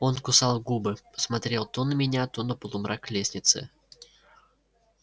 он кусал губы смотрел то на меня то на полумрак лестницы